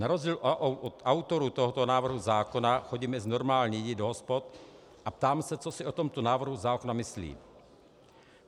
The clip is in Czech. Na rozdíl od autorů tohoto návrhu zákona chodím mezi normální lidi do hospod a ptám se, co si o tomto návrhu zákona myslí.